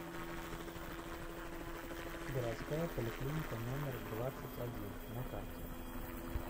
городская поликлиника номер двадцать один на карте